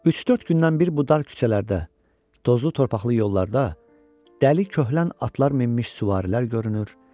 Üç-dörd gündən bir bu dar küçələrdə, tozlu torpaqlı yollarda dəli köhlən atlar minmiş süvarilər görünür.